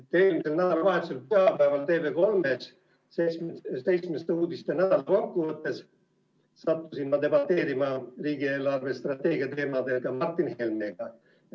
Eelmisel nädalavahetusel sattusin ma pühapäeval TV3 "Seitsmeste uudiste" nädala kokkuvõttes debateerima riigi eelarvestrateegia teemadel Martin Helmega.